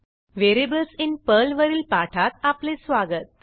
variables in पर्लवरील पाठात आपले स्वागत